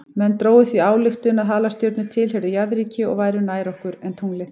Menn drógu því þá ályktun að halastjörnur tilheyrðu jarðríki og væru nær okkur en tunglið.